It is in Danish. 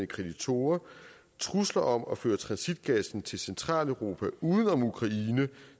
kreditorer trusler om at føre transitgassen til centraleuropa uden om ukraine